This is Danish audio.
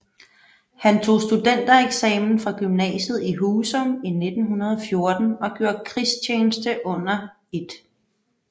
Han tog studentereksamen fra gymnasiet i Husum i 1914 og gjorde krigstjeneste under 1